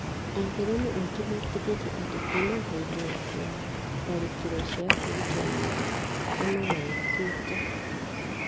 Aithĩramu aingĩ metĩkĩtie atĩ kuuma hĩndĩ ya tharĩkĩro cia kwĩrutĩra muoyo nĩ magarũrũkĩte.